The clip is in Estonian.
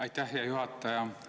Aitäh, hea juhataja!